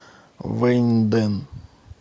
вэньдэн